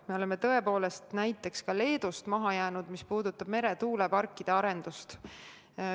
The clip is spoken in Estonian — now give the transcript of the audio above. Me oleme tõepoolest näiteks Leedust maha jäänud, kui jutt on meretuuleparkide arendusest.